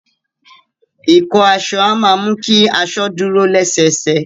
Ìkọ́ aso a ma mú ki aso dúro lẹ́sẹsẹ